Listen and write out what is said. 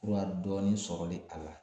Fura dɔɔnin sɔrɔlen a la